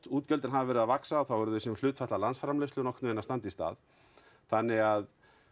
útgjöldin hafi verið að vaxa þá eru þau sem hlutfall af nokkurnvegin að standa í stað þannig að